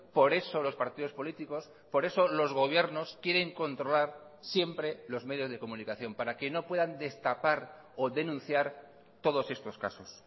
por eso los partidos políticos por eso los gobiernos quieren controlar siempre los medios de comunicación para que no puedan destapar o denunciar todos estos casos